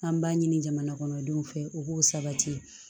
An b'a ɲini jamana kɔnɔ denw fɛ u b'o sabati